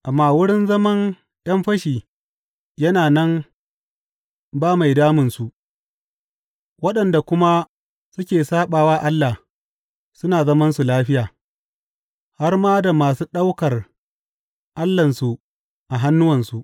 Amma wurin zaman ’yan fashi yana nan ba mai damunsu, waɗanda kuma suke saɓa wa Allah suna zamansu lafiya, har ma da masu ɗaukar allahnsu a hannuwansu.